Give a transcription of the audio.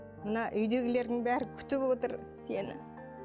мына үйдегілердің бәрі күтіп отыр сені